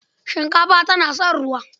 Shinkafa tana son ruwa.